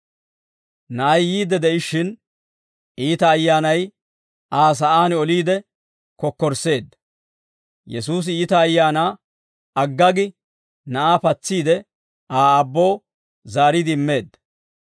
Na'ay yiidde de'ishshin, iita ayyaanay Aa sa'aan oliide kokkorsseedda; Yesuusi iita ayaanaa agga gi na'aa patsiide Aa aabboo zaariide immeedda.